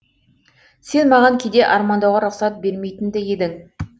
сен маған кейде армандауға рұқсат бермейтін ді едің